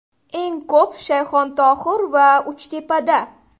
Eng ko‘p Shayxontohur va Uchtepada.